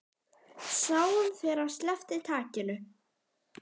Sáum þegar hann sleppti takinu.